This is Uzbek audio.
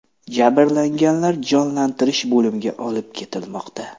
Jabrlanganlar jonlantirish bo‘limiga olib ketilmoqda.